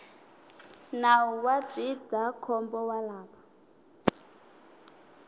nawu wa ndzindzakhombo wa lava